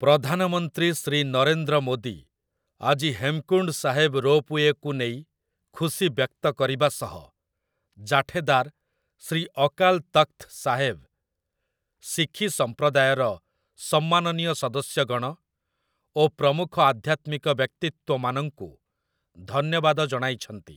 ପ୍ରଧାନମନ୍ତ୍ରୀ ଶ୍ରୀ ନରେନ୍ଦ୍ର ମୋଦୀ ଆଜି ହେମକୁଣ୍ଡ ସାହେବ ରୋପୱେକୁ ନେଇ ଖୁସି ବ୍ୟକ୍ତ କରିବା ସହ ଜାଠେଦାର୍ ଶ୍ରୀ ଅକାଲ୍ ତଖ୍‌ତ ସାହେବ୍, ଶିଖି ସମ୍ପ୍ରଦାୟର ସମ୍ମାନନୀୟ ସଦସ୍ୟଗଣ ଓ ପ୍ରମୁଖ ଆଧ୍ୟାତ୍ମିକ ବ୍ୟକ୍ତିତ୍ୱମାନଙ୍କୁ ଧନ୍ୟବାଦ ଜଣାଇଛନ୍ତି ।